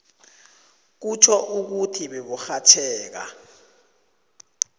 kutjho ukuthi beburhatjheka